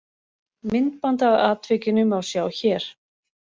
Myndband af atvikinu má sjá hér